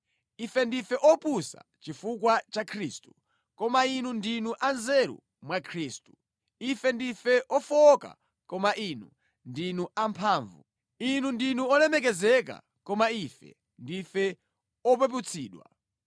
Ife ndife opusa chifukwa cha Khristu, koma inu ndinu anzeru mwa Khristu! Ife ndife ofowoka koma inu ndinu amphamvu! Inu ndinu olemekezeka koma ife ndife opeputsidwa!